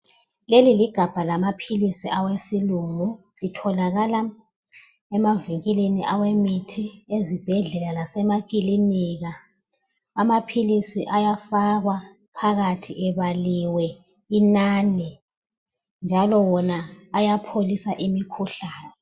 Leli ligabha lamaphilisi awesilungu atholakala emavinkilini awemithi ezibhendlela lasemakilinika amaphilisi ayafakwa phakathi ebaliwe inani njalo ayapholisa imikhuhlane